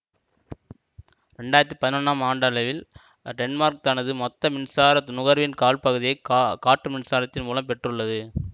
இரண்டு ஆயிரத்தி பதினொன்றாம் ஆண்டளவில் டென்மார்க் தனது மொத்த மின்சார நுகர்வின் கால்பகுதியைக்கா காற்று மின்சாரத்தின் மூலம் பெற்றுள்ளது